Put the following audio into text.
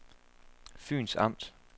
Fyns Amt